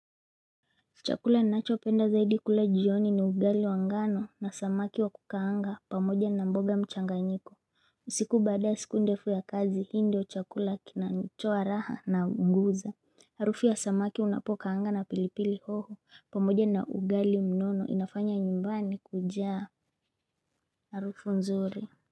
Chakula inachopenda zaidi kule jioni ni ugali wangano na samaki wakukaanga pamoja na mboga mchanganyiko usiku baada ya siku ndefu ya kazi hindi wa chakula kinanchoa raha na mguza Harufi ya samaki unapokaanga na pilipili hoho pamoja na ugali mnono inafanya nyumbani kujaa Harufu nzuri.